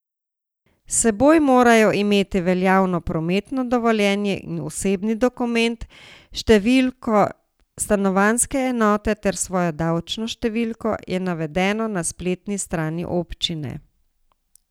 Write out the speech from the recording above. S seboj morajo imeti veljavno prometno dovoljenje in osebni dokument, številko stanovanjske enote ter svojo davčno številko, je navedeno na spletni strani občine.